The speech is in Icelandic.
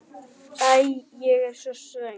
Æ, ég er svo svöng.